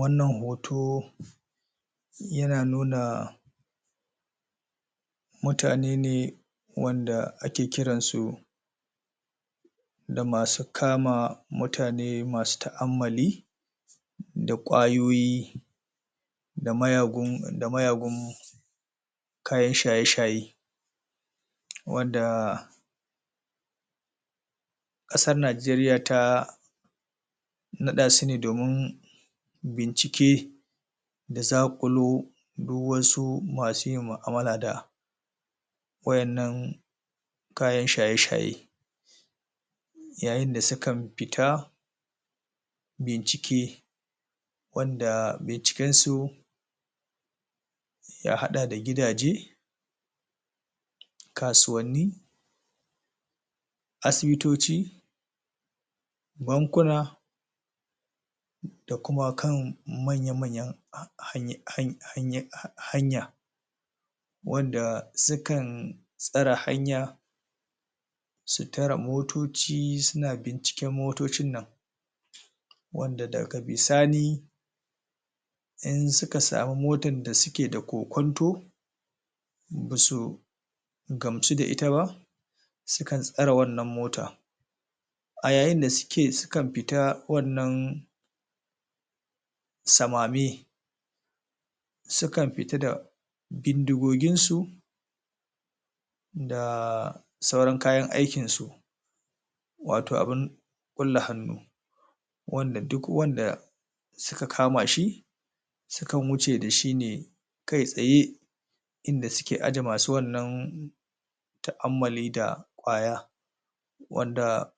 Wannan hoto yana nuna mutane ne wanda ake kiran su da masu kama mutane masu ta’ammali da ƙwayoyi da mayagu da mayagun kayan shaye-shaye wanda ƙasar najeriya ta naɗasune domin bincike da zakulo duk wasu masu yin ma’amala da wa’innan kayan shaye-shaye. Yayin da sukan fita bincike, wadda binciken su ya haɗa da gidaje, kasuwanni, asibitoci, bankuna da kuma kan manya-manyan ha ha hany hanya wanda sukan tsare hanya su tare motoci suna binciken motocin nan wadda daga bisani in suka samu motan da suke da kokwanto basu gamsu da ita ba sukan tsare wannan motan. A yayin da suke sukan fita wannan samame, sukan fita da bindigogin su da sauran kayan aikin su wato abun ƙulle hannu, wanda duk wanda suka kamashi sukan wuce dashi ne kai tsaye inda suke aje masu wannan ta’ammali da ƙwaya wadda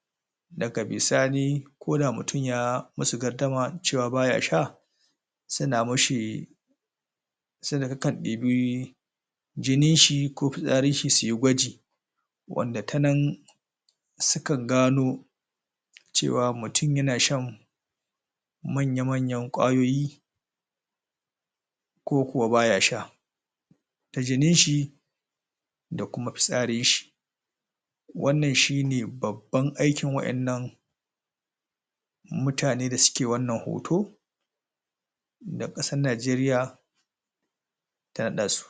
daga bisani koda mutum ya masu gardama cewa baya sha suna mishi sukan ɗebi jinin shi ko fitsarin shi suyi gwaji wanda tanan sukan gano cewa mutum yana shan manya-manyan ƙwayoyi ko kuwa baya sha. Ta jinin shi da kuma fitsarin shi wannan shine babban aikin wa’innan mutane da suke wannan hoto da ƙasar najeriya ta naɗa su.